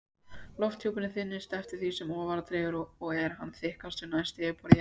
Lofthjúpurinn þynnist eftir því sem ofar dregur og er hann þykkastur næst yfirborði jarðar.